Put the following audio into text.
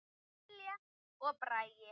Lilja og Bragi.